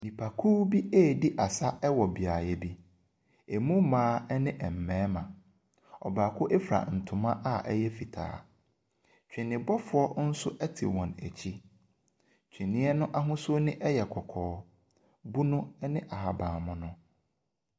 Nnipakuw redi asa wɔ beaeɛ bi. Emu mmaa ne mmarima. Ɔbaako fura ntoma a ɛyɛ fitaa. Twenebɔfoɔ nso te wɔn akyi. Twene no ahosuo ne yɛ kɔkɔɔ, bunu ne ahabanmono.